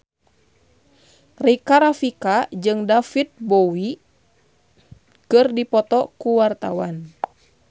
Rika Rafika jeung David Bowie keur dipoto ku wartawan